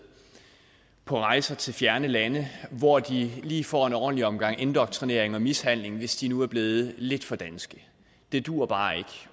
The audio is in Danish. på rejser til fjerne lande hvor de lige får en ordentlig omgang indoktrinering og mishandling hvis de nu er blevet lidt for danske det duer bare ikke